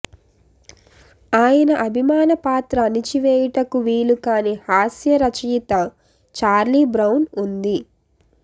ఆయన అభిమాన పాత్ర అణచివేయుటకు వీలుకాని హాస్యరచయిత చార్లీ బ్రౌన్ ఉంది